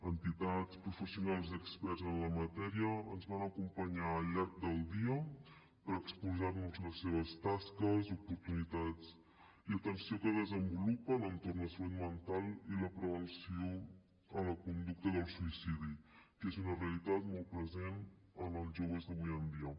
entitats professionals i experts en la matèria ens van acompanyar al llarg del dia per exposar nos les seves tasques oportunitats i atenció que desenvolupen entorn de la salut mental i la prevenció a la conducta del suïcidi que és una realitat molt present en els joves d’avui en dia